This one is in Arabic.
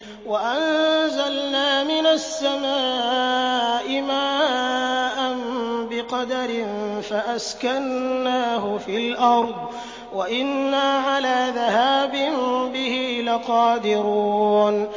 وَأَنزَلْنَا مِنَ السَّمَاءِ مَاءً بِقَدَرٍ فَأَسْكَنَّاهُ فِي الْأَرْضِ ۖ وَإِنَّا عَلَىٰ ذَهَابٍ بِهِ لَقَادِرُونَ